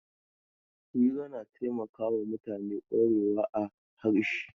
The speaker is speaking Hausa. Hira na taimakawa mutane kwarewa a harshe.